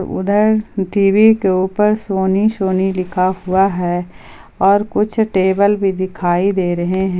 उधर टी_वी के ऊपर सोनी सोनी लिखा हुआ है और कुछ टेबल भी दिखाई दे रहे हैं।